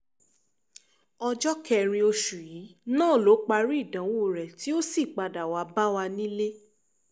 ọjọ́ kẹrin oṣù yìí náà ló parí ìdánwò rẹ tí ó sì padà wàá bá wa nílé